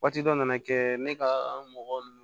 Waati dɔ nana kɛ ne ka mɔgɔw